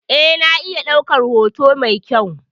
Eh, na iya ɗaukar hoto mai kyau.